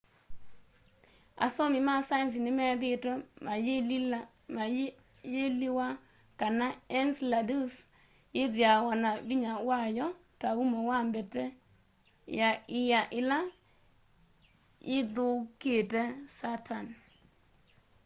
asomi ma saenzi nimethiitwe mayiliwa kana ence ladus yithiawa na vinya wayo ta umo wa mbete ya ia ila yithiuukite saturn